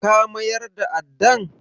Ka mayar da addan?